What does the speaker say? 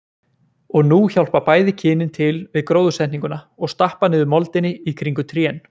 Og nú hjálpa bæði kynin til við gróðursetninguna og stappa niður moldinni í kringum trén.